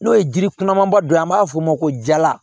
N'o ye jiri kunnamaba dɔ ye an b'a fɔ o ma ko jala